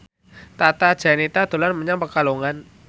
Tata Janeta dolan menyang Pekalongan